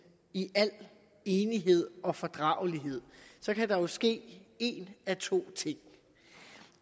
i al enighed og fordragelighed kan der jo ske en af to ting